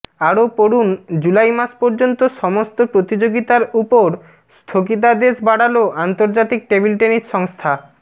আরও পড়ুনঃজুলাই মাস পর্যন্ত সমস্ত প্রতিযোগিতার উপর স্থগিতাদেশ বাড়াল আন্তর্জাতিক টেবিল টেনিস সংস্থা